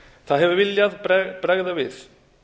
það hefur viljað bregða við